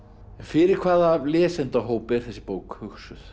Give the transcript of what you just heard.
fyrir hvaða lesendahóp er þessi bók hugsuð